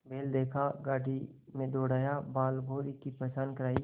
बैल देखा गाड़ी में दौड़ाया बालभौंरी की पहचान करायी